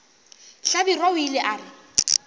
hlabirwa o ile a re